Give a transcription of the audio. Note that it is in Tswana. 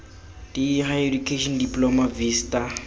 d higher education diploma vista